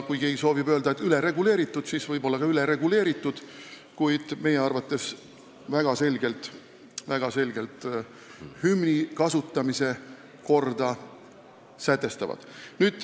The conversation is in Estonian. Kui keegi soovib öelda, et see on ülereguleerimine, siis võib-olla need seadused on ka ülereguleeritud, kuid meie arvates sätestavad need väga selgelt hümni kasutamise korra.